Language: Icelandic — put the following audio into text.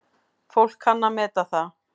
Fólk kann að meta það.